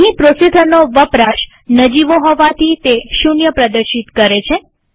અહીં પ્રોસેસરનો વપરાશ નજીવો હોવાથી તે 0 પ્રદર્શિત કરે છે